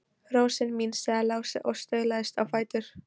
Rósin mín, sagði Lási og staulaðist á fætur.